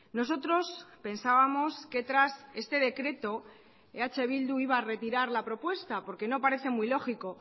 nosotros pensábamos que tras este decreto eh bildu iba a retirar la propuesta porque no parece muy lógico